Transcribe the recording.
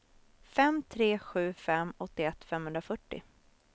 fem tre sju fem åttioett femhundrafyrtio